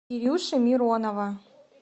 кирюши миронова